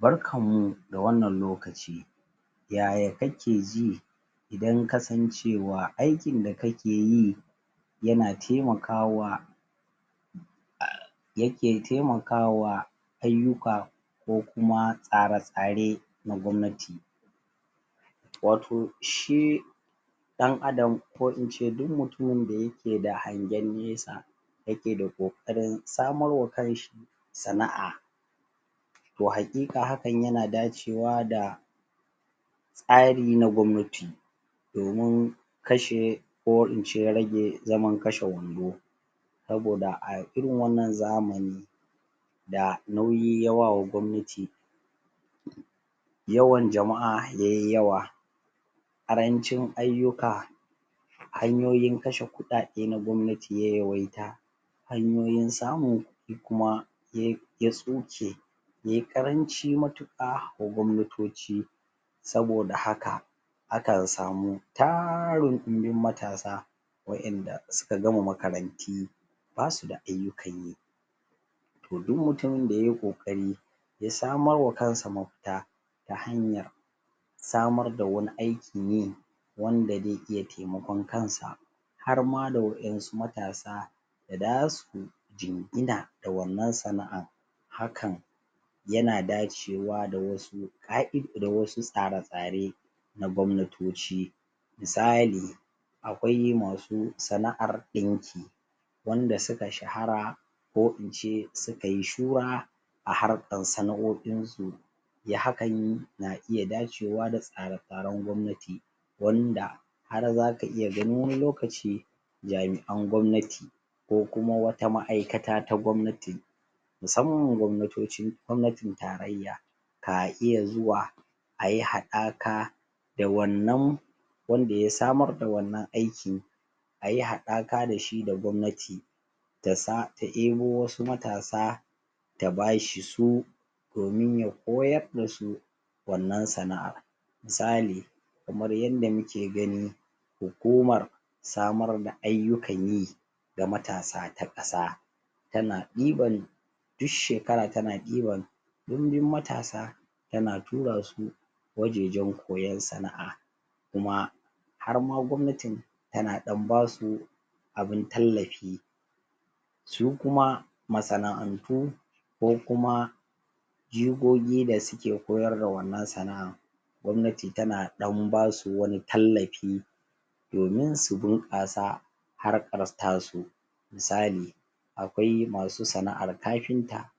Barkanmu da wannan lokaci yaya kake ji dan kasancewa aikin da kake yi yana taimakwa yake taimakawa ayyuka ko kuma tsare-tsare na gwamnati wato shi ɗan Adam ko ince duk mutumin da yake da hangen nesa yake da ƙoƙarin samarwa kanshi sana'a to haƙiƙa hakan yana dacewa da tsari na gwamnati domin kashe ko ince rage zaman kashe-wando saboda a irin wannan zamani da nauyi ya wa wa gwamnati yawan jama'a ya yi yawa ƙarancin ayyuka hanyoyin kashe kuɗaɗe na gwamnati ya yawaita hanyoyin samu kuma ya tsuke ya yi ƙaranci matuƙa wa gwamnatoci saboda haka akan samu tarin ɗumbin matasa waƴanda suka gama makaranti ba su da ayyukan yi to du mutumin da ya yi ƙoƙari ya samarwa kansa mafita ta hanyar samar da wani aikin yi wanda ze iya temakon kansa har ma da waƴansu matasa da za su jingina da wannan sana'an hakan yana dacewa da wasu da wasu tsare-tsare na gwamnatoci misali akwai masu sana'ar ɗinki wanda su ka shahara ko ince su ka yi shura a harkan sana'o'insu ya hakan na iya dacewa da tsare-tsaren gwamnati wanda har zaka iya gani wani lokaci jami'an gwamnati ko kuma wata ma'aikata ta gwamnati musamman gwamnatocin gwamnatin tarayya ka iya zuwa a yi haɗaka da wannan wanda ya samar da wannan aiki a yi haɗaka da shi da gwamnati da za ta ebo wasu matsa ta ba shi su domin ya koyar da su wannan sana'ar misali kamar yanda muke gani hukumar samar da ayyukan yi ga matasa ta ƙasa tana ɗiban duk shekara tana ɗiban ɗumbin matasa tana tura su wajejen koyan sana'a kuma har ma gwamnatin tana ɗan ba su abin tallafi su kuma masana'antu ko kuma jigogi da suke koyar da wannan sana'an gwamnati tana ɗan ba su wani tallafi domin su bunƙasa harkar tasu misali akwai masu sana'ar kafinta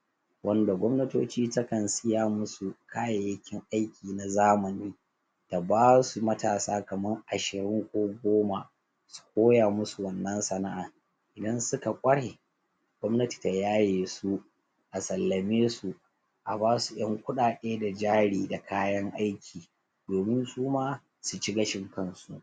wanda gwamnatoci ta kan siya musu kayayyakin aiki na zamani ta ba su matasa kaman ashirin ko goma su koya musu wannnan sana'an idan su ka ƙware gwamnati ta yaye su a sallame su a ba su ƴan kuɗaɗe da jari da kayan aiki domin su ma su ci gashin kansu